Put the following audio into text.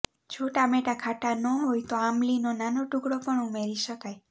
જો ટામેટા ખાટા ના હોય તો આમલી નો નાનો ટુકડો પણ ઉમેરી શકાય